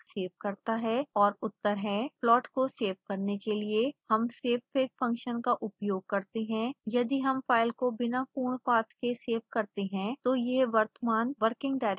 और उत्तर हैं